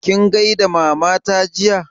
Kin gaida Mama ta jiya?